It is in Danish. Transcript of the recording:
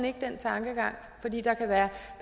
ikke den tankegang der kan være